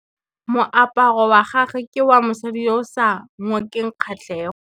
Moaparô wa gagwe ke wa mosadi yo o sa ngôkeng kgatlhegô.